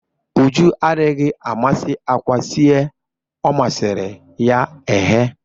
Uju adịghị amasị àkwá sie ọ masịrị ya eghe